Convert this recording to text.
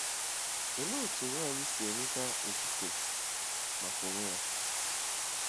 Olee otú nwanyị si enweta otuto maka onwe ya?